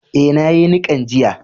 Eh, na yi nikan jiya.